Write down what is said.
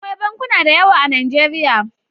Akwai bankuna da yawa a Najeriya.